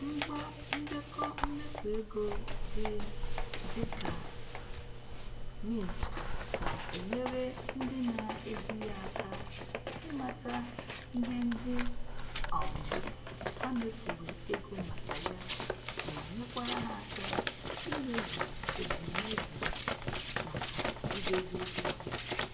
Ngwa ndekọ mmefu ego dị dị ka Mint na-enyere ndị na-eji ya aka ịmata ihe ndị um ha mefuru ego maka ya ma nyekwara ha aka imezu ebumnobi maka idozi ego ha